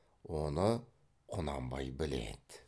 оны құнанбай біледі